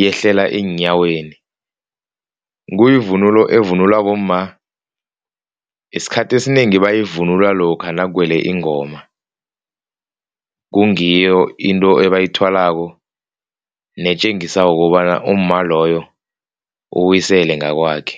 yehlele eenyaweni. Kuyivunulo evunulwa bomma, isikhathi esinengi bayivunula lokha nakuwele ingoma. Kungiyo into ebayithwalako netjengisako kukobana umma loyo uyisele ngakwakhe.